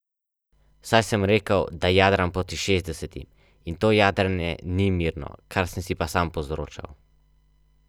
Svojo udeležbo so že potrdili predsednik vlade Miro Cerar in šest ministrov.